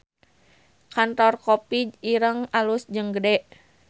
Kantor Kopi Ireng alus jeung gede